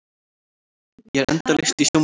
Ég er endalaust í sjónvarpinu.